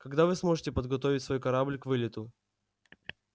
когда вы сможете подготовить свой корабль к вылету